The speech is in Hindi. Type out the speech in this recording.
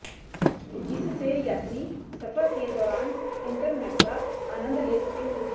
जिससे यात्री सफ़र के दौरान इंटरनेट का आनन्द ले सकेंगे